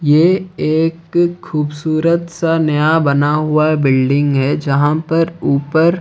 ये एक खूबसूरत सा नया बना हुआ बिल्डिंग है जहां पर ऊपर--